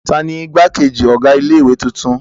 Ta ni ìgbákejì ọ̀gá ilé-ìwé tuntun?